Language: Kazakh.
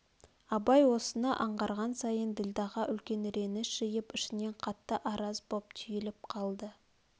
абай осыны аңғарған сайын ділдәға үлкен реніш жиып ішінен қатты араз боп түйіліп қалды